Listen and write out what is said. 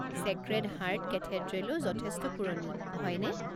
Sacred heart কেথেড্ৰেলো যথেষ্ট পুৰণি, হয়নে?